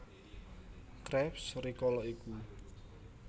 Krabs rikala iku